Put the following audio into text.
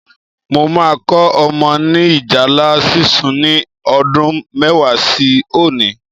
Mo máa kọ́ ọmọ ni ìjálá sísun ni ọdún mẹ́wàá sí òní